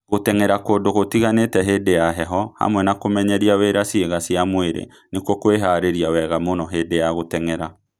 Gũteng'era kũndũ gũtiganĩte hĩndĩ ya heho, hamwe na kũmenyeria wĩra ciĩga cia mwĩrĩ, nĩkuo kwĩhaarĩria wega mũno hĩndĩ ya gũteng'era.